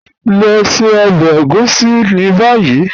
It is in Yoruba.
Lọ ṣẹ ọbẹ ègúsì ni bayi.